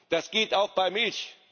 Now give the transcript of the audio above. Das geht auch bei Milch!